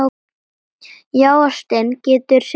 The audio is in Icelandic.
Já, ástin getur sigrað!